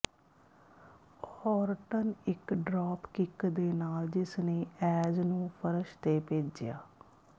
Orton ਇਕ drop kick ਦੇ ਨਾਲ ਜਿਸਨੇ ਐਜ ਨੂੰ ਫਰਸ਼ ਤੇ ਭੇਜਿਆ